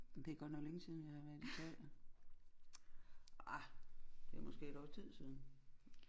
Men det er godt nok længe siden jeg har været i teater ah det er måske et års tid siden